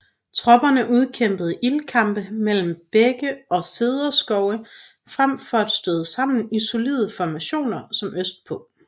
Tropperne udkæmpede ildkampe mellem bække og cederskove frem for at støde sammen i solide formationer som østpå